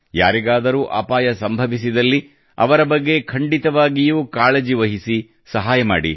ಯಾರಿಗಾದರೂ ಅಪಾಯ ಸಂಭವಿಸಿದಲ್ಲಿ ಅವರ ಬಗ್ಗೆ ಖಂಡಿತವಾಗಿಯೂ ಕಾಳಜಿ ವಹಿಸಿ ಸಹಾಯ ಮಾಡಿ